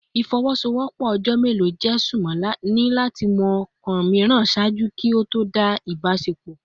Ifowosowopo ojo melo je sunmọ ni lati mọ kọọkan miiran ṣaaju ki o to dá si a ibasepo